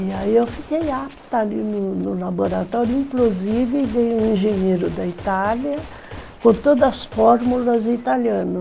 E aí eu fiquei apta ali no no laboratório, inclusive veio um engenheiro da Itália com todas as fórmulas italiano.